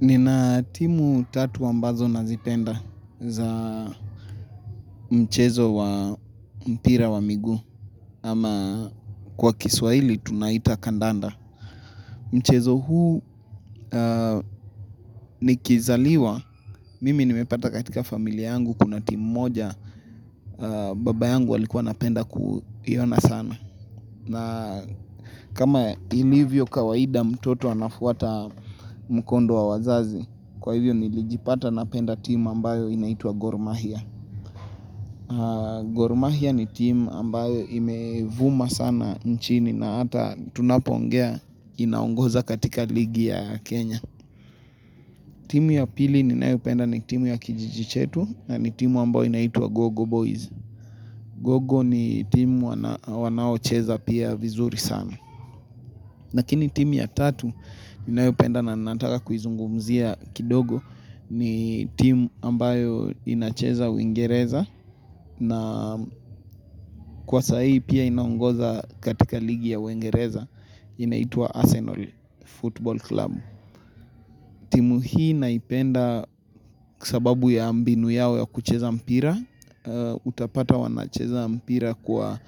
Nina timu tatu ambazo nazipenda za mchezo wa mpira wa miguu. Ama kwa kiswahili tunaita kandanda. Mchezo huu nikizaliwa, mimi nimepata katika familia yangu kuna timu moja, baba yangu alikuwa anapenda kuiona sana. Na kama ilivyo kawaida mtoto anafuata mkondo wa wazazi, kwa hivyo nilijipata napenda timu ambayo inaitwa Gormahia. Gormahia ni timu ambayo imevuma sana nchini na hata tunapoongea inaongoza katika ligi ya Kenya. Timu ya pili ninayopenda ni timu ya kijjii chetu na ni timu ambayo inaitwa Gogo Boys. Gogo ni timu wanaocheza pia vizuri sana. Lakini timu ya tatu ninayopenda na nataka kuizungumzia kidogo ni timu ambayo inacheza uingereza na kwa sai pia inaongoza katika ligi ya uingereza inaitwa Arsenal Football Club. Timu hii naipenda kwa sababu ya mbinu yao ya kucheza mpira, utapata wanacheza mpira kwa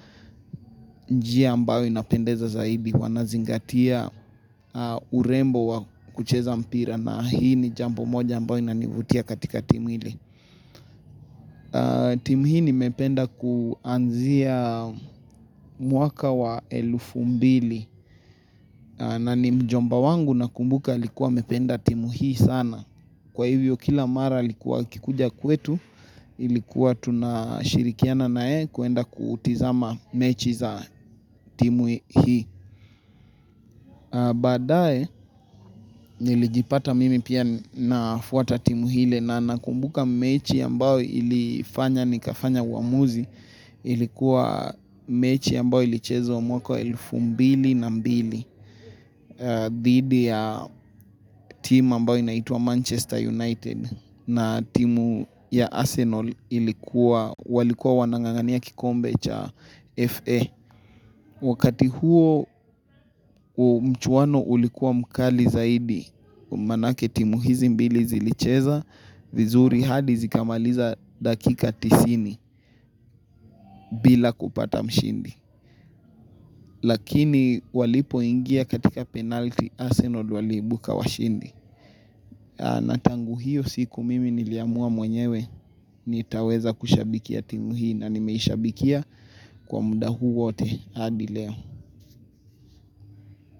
njia ambayo inapendeza zaidi, wanazingatia urembo wa kucheza mpira na hii ni jambo moja ambayo inanivutia katika timu ile. Timu hii nimependa kuanzia mwaka wa elfu mbili na ni mjomba wangu nakumbuka alikuwa amependa timu hii sana Kwa hivyo kila mara alikuwa akikuja kwetu Ilikuwa tunashirikiana na yeye kuenda kutazama mechi za timu hii Baadae, nilijipata mimi pia nafuata timu ile, na nakumbuka mechi ambao ilifanya nikafanya uamuzi Ilikuwa mechi ambayo ilichezwa mwaka wa elfu mbili na mbili dhidi ya timu ambayo inaitwa Manchester United na timu ya Arsenal ilikuwa walikuwa wanangangania kikombe cha FA Wakati huo mchuwano ulikuwa mkali zaidi Manake timu hizi mbili zilicheza vizuri hadi zikamaliza dakika tisini bila kupata mshindi Lakini walipoingia katika penalty Asenol waliibuka washindi na tangu hiyo siku mimi niliamua mwenyewe nitaweza kushabikia timu hii na nimeishabikia kwa muda huu wote hadi leo.